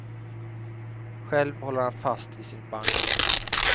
Själv håller han fast vid sin banjo.